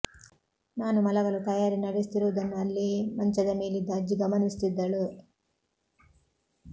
ನಾನು ಮಲಗಲು ತಯಾರಿ ನಡೆಸುತ್ತಿರುವುದನ್ನು ಅಲ್ಲೇ ಮಂಚದ ಮೇಲಿದ್ದ ಅಜ್ಜಿ ಗಮನಿಸುತ್ತಿದ್ದಳು